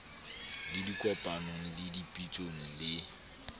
le dikopanong le dipitsong le